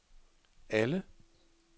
alle